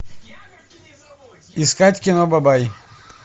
искать кино бабай